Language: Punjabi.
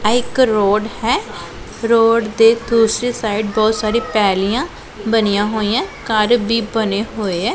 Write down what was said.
ਇਹ ਇੱਕ ਰੋਡ ਹੈ ਰੋਡ ਦੇ ਦੂਸਰੀ ਸਾਈਡ ਬਹੁਤ ਸਾਰੀ ਪੈਲੀਆਂ ਬਣੀਆਂ ਹੋਈਐਂ ਘਰ ਭੀ ਬਣੇ ਹੋਏ ਐ।